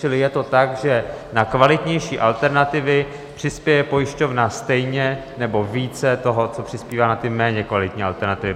Čili je to tak, že na kvalitnější alternativy přispěje pojišťovna stejně nebo více toho, co přispívá na ty méně kvalitní alternativy?